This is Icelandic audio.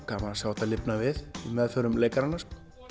gaman að sjá þetta lifna við í meðförum leikaranna